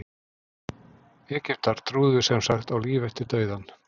egyptar trúðu sem sagt á líf eftir dauðann